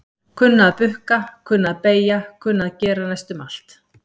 Kunna að bukka, kunna að beygja kunna að gera næstum allt.